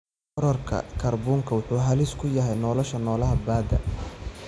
Kororka kaarboonka wuxuu halis ku yahay nolosha noolaha badda.